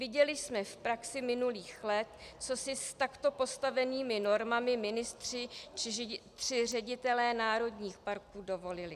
Viděli jsme v praxi minulých let, co si s takto postavenými normami ministři či ředitelé národních parků dovolili.